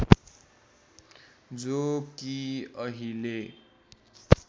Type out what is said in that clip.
जो कि अहिले